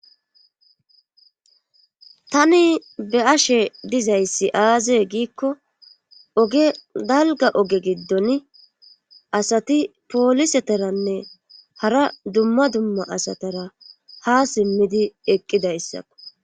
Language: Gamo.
tani be'ashe dizayssi aazee giikko oge dalga oge giddon asati pooliseteranne hara dumma dumma asatara ha simmidi eqqidayssakko